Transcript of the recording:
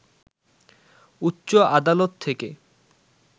উচ্চ আদালত থেকে